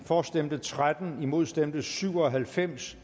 for stemte tretten imod stemte syv og halvfems